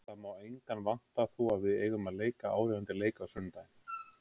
Það má engan vanta því að við eigum að leika áríðandi leik á sunnudaginn.